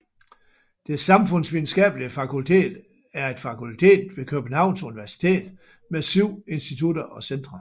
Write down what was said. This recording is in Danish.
Det Samfundsvidenskabelige Fakultet er et fakultet ved Københavns Universitet med 7 institutter og centre